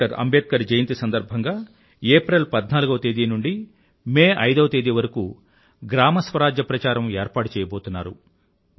doctor Ambedkar జయంతి సందర్భంగా April 14వ తేదీ నుండీ మే 5వ తేదీ వరకూ గ్రామ స్వరాజ్య ప్రచారం ఏర్పాటు చేయబోతున్నారు